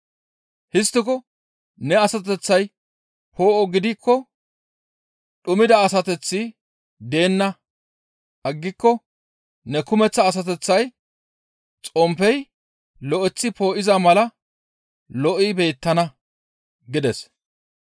Histtiko ne asateththay poo7o gidikko dhumida asateththi deenna aggiko ne kumeththa asateththay xomppey lo7eththi poo7iza mala lo7i beettana» gides.